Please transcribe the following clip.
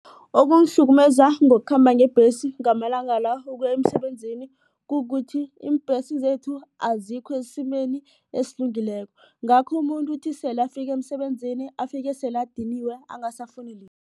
Okungihlukumeza ngokukhamba ngebhesi ngamalanga la ukuya emsebenzini kukuthi iimbhesi zethu azikho esimeni esilungileko. Ngakho umuntu uthi sele afike emsebenzini afike sele adiniwe angasafuni